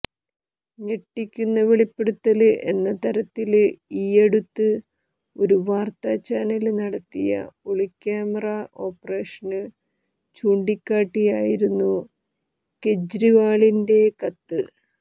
ഞെട്ടിക്കുന്ന വെളിപ്പെടുത്തല് എന്ന തരത്തില് ഈയടുത്ത് ഒരു വാര്ത്താ ചാനല് നടത്തിയ ഒളിക്യാമറാ ഓപ്പറേഷന് ചൂണ്ടിക്കാട്ടിയായിരുന്നു കെജ്രിവാളിന്റെ കത്ത്